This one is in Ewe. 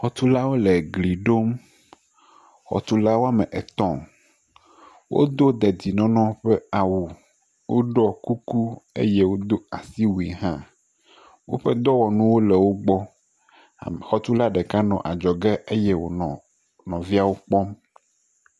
Xɔtulawo le gli ɖom. Xɔtula wome etɔ̃ wodo dedienɔnɔ ƒe awu, woɖɔ kuku eye wodo asiwui hã. Woƒe dɔwɔnuwo le wo gbɔ. Xɔtula ɖeka nɔ adzɔge eye wonɔ nɔviawo kpɔm.